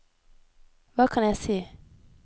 hva kan jeg si